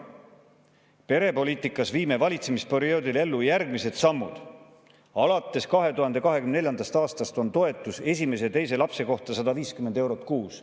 "Perepoliitikas viime valitsemisperioodil ellu järgmised sammud: Alates 2024. aastast on toetus esimese ja teise lapse kohta 150 eurot kuus.